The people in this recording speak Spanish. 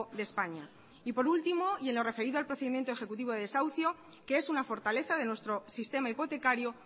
de españa y por último y en lo referido al procedimiento ejecutivo de desahucio que es una fortaleza de nuestro sistema hipotecario